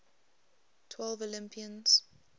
twelve olympians